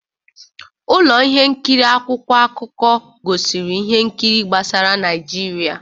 Ụlọ ihe nkiri akwụkwọ akụkọ gosiri ihe nkiri gbasara Naịjirịa.